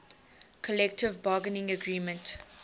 collective bargaining agreement